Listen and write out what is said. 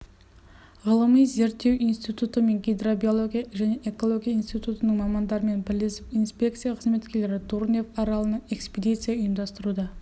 ғылыми-зерттеу институты және гидробиология және экология институтының мамандарымен бірлесіп инспекция қызметкерлері дурнев аралына экспедиция ұйымдастыруда